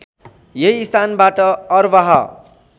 यही स्थानबाट अरबाह